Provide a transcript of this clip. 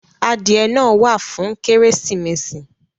Adìẹ náà wà fún Kérésìmesì